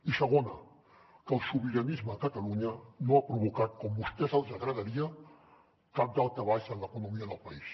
i segona que el sobiranisme a catalunya no ha provocat com a vostès els agradaria cap daltabaix en l’economia del país